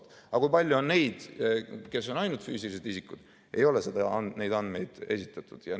Aga selle kohta, kui palju on neid, kes on ainult füüsilised isikud, ei ole andmeid esitatud.